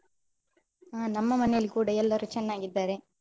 ಹಾ ನಮ್ಮ ಮನೆಲ್ ಕೂಡ ಎಲ್ಲರು ಚೆನ್ನಾಗಿದ್ದಾರೆ.